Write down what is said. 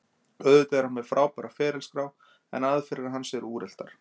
Auðvitað er hann með frábæra ferilskrá, en aðferðir hans eru úreltar.